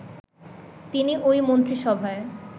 তিনি ওই মন্ত্রিসভায়